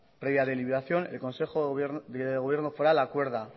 previa deliberación el consejo de gobierno foral acuerda